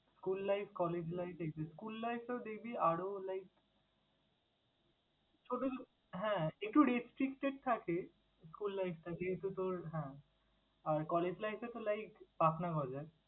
School life, college life এই যে school life টাও দেখবি আরও like ছোট হ্যাঁ, একটু restricted থাকে school life টাতে কিন্তু তোর হ্যাঁ, আর college life এ তো like পাখনা গজায়।